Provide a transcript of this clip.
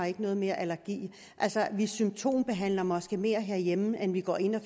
ikke mere allergi vi symptombehandler måske mere herhjemme end vi går ind og